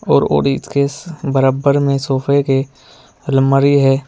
और बरबर में सोफे के अलमारी है।